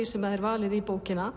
sem er valið í bókina